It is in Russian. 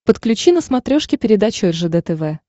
подключи на смотрешке передачу ржд тв